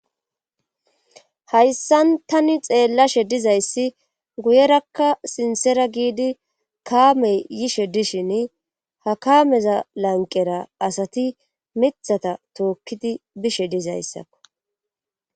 hayssan tani xeellashe dizayssi guyerakka sinsera giidi kaamey yishe dishin ha kaameza lanqera asati mithata tookkidi bishe dizayssakko